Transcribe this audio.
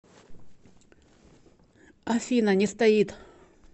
афина не стоит